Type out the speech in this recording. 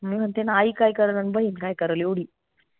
म्हणुन म्हनते ना आई काय करल अन बहीन काय करल एवढी